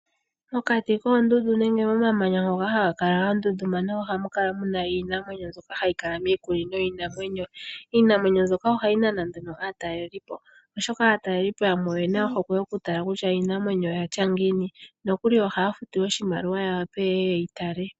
Mokati koondundu nenge momamanya ngoka haga kala ga tuntumana, ohamu kala muna iinamwenyo mbyoka hayi kala miikunino yiinamwenyo. Iinamwenyo mbyoka ohayi nana nduno aataleli po oshoka aatalelipo yamwe oyena ohokwe yoku tala kutya iinamwenyo oyatya ngiini, nokuli ohaya futu oshimaliwa ya wape yeye yeyi tale.